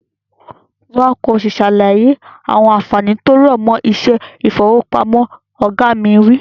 Wá ki o si sàlàyé àwọn ànfàní tí ó rọ̀mọ́ iṣẹ́ ifowopamọ. Oga mi wi.